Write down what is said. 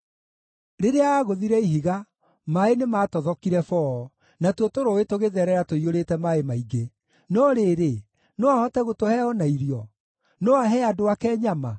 Rĩrĩa aagũthire ihiga, maaĩ nĩmatothokire boo, natuo tũrũũĩ tũgĩtherera tũiyũrĩte maaĩ maingĩ. No rĩrĩ, no ahote gũtũhe o na irio? No ahe andũ ake nyama?”